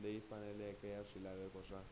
leyi faneleke ya swilaveko swa